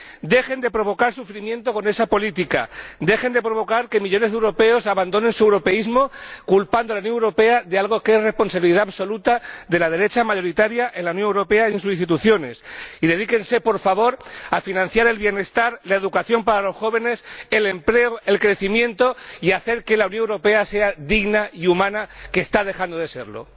¡Dejen de provocar sufrimiento con esa política, dejen de provocar que millones de europeos abandonen su europeísmo culpando a la Unión Europea de algo que es responsabilidad absoluta de la derecha, mayoritaria en la Unión Europea y en sus instituciones, y dedíquense, por favor, a financiar el bienestar, la educación para los jóvenes, el empleo y el crecimiento y a hacer que la Unión Europea sea digna y humana, porque está dejando de serlo!